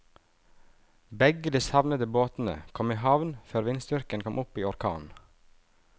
Begge de savnede båtene kom i havn før vindstyrken kom opp i orkan.